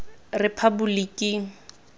rephaboliking